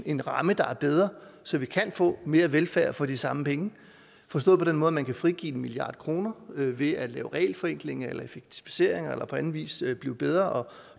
en ramme der er bedre så vi kan få mere velfærd for de samme penge forstået på den måde at man kan frigive en milliard kroner ved at lave regelforenklinger eller effektiviseringer eller på anden vis blive bedre og